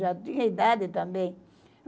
Já tinha idade também.